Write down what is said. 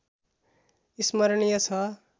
स्मरणीय छ